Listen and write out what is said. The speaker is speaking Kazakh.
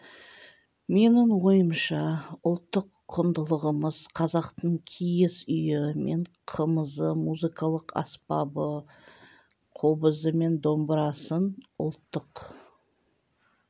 менің ойымша ұлттық құндылығымыз қазақтың киіз үйі мен қымызы музыкалық аспабы қобызы мен домбырасын ұлттық